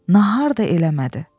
Nəhar da eləmədi.